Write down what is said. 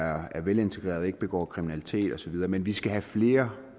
er velintegreret og ikke begår kriminalitet osv men vi skal have flere